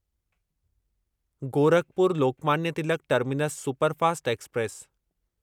Gorakhpur Lokmanya Tilak terminus superfast express